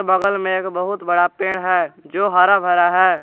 बगल में एक बहुत बड़ा पेड़ है जो हरा भरा है।